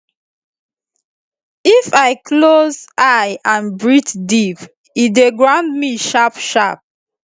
if i close eye and breathe deep e dey ground me sharpsharp